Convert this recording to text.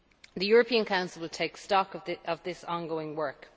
The European Council will take stock of this ongoing work.